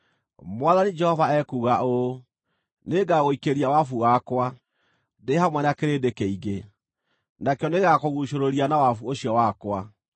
“ ‘Mwathani Jehova ekuuga ũũ: “ ‘Nĩngagũikĩria wabu wakwa, ndĩ hamwe na kĩrĩndĩ kĩingĩ, nakĩo nĩgĩgakũguucũrũria na wabu ũcio wakwa.